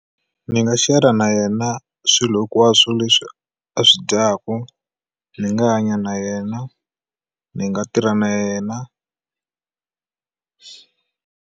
Ni nga share-ra na yena swilo hinkwaswo leswi a swi dyaku ni nga hanya na yena ni nga tirha na yena.